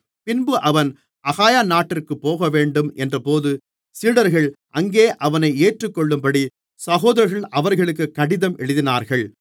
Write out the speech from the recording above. பின்பு அவன் அகாயா நாட்டிற்குப் போகவேண்டும் என்றபோது சீடர்கள் அங்கே அவனை ஏற்றுக்கொள்ளும்படி சகோதரர்கள் அவர்களுக்கு கடிதம் எழுதினார்கள்